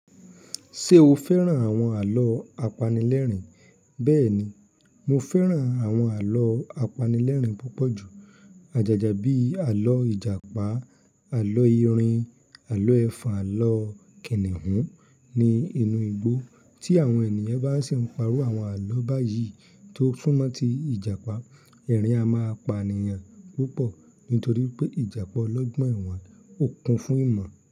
Ṣé o fẹ́ràn àwọn àlọ́ apanilẹ́rìn? Bẹ́ẹ̀ni, mo fẹ́ràn àwọn àlọ́ apanilẹ́rìn púpọ̀ jù. Àjàjà bíi àlọ́ Ìjàpá, àlọ́ Erìn, àlọ́ Ẹ̀fọn, àlọ́ Kìnìún ni inú igbó. Tí àwọn ènìyàn bá sì ń pa irú àwọn àlọ́ báyìí tó súnmọ́ tí Ìjàpá, ẹ̀rín a máa pa ènìyàn púpọ̀ nítorí pé Ìjàpá olọ́gbọ́n ẹ̀wé ó kun fún ìmọ̀